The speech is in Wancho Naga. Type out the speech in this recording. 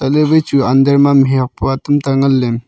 ilevai chu under ma mi hok poa tamta ngan ley.